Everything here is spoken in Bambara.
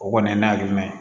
O kɔni ye n lahala jumɛn ye